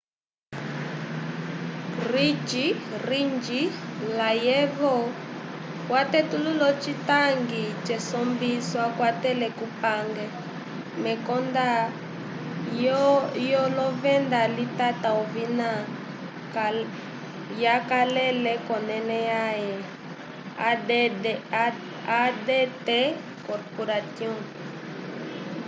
ring layevo watetulula ocitangi cesombiso akwatele kupange mekonda lyovenda litata ovina yakalele k'onẽle yãhe adt corporation